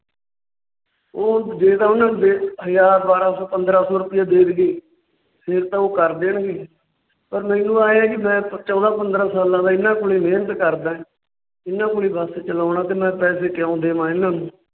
ਉਹ ਜੇ ਤਾਂ ਓਹਨਾ ਨੂੰ ਹਜ਼ਾਰ, ਬਾਰਹ ਸੋ, ਪੰਦਰਾਂ ਸੋ ਰੁਪਿਆ ਦੇ ਦੇਈਏ। ਫੇਰ ਤਾਂ ਉਹ ਕਰ ਦੇਣਗੇ। ਪਰ ਮੈਨੂੰ ਇਹ ਹੈ ਕਿ ਮੈਂ ਚੋਦਾ ਪੰਦਰਾਂ ਸਾਲਾਂ ਦਾ ਹੀ ਇਹਨਾਂ ਕੋਲ ਮੇਹਨਤ ਕਰਦਾ ਹਾਂ ਇਹਨਾਂ ਕੋਲ ਹੀ ਬੱਸ ਚਲਾਉਂਦਾ । ਤੇ ਮੈਂ ਪੈਸੇ ਕਿਉਂ ਦੇਵਾ ਇਹਨਾਂ ਨੂੰ